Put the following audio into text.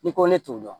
N'i ko ne t'o dɔn